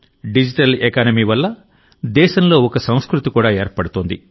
digital economy వల్ల దేశంలో ఒక సంస్కృతి కూడా ఏర్పడుతోంది